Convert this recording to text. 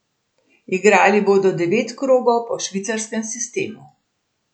Igrali bodo devet krogov po švicarskem sistemu.